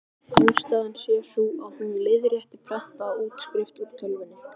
Ástæðan sé sú, að hún leiðrétti prentaða útskrift úr tölvunni.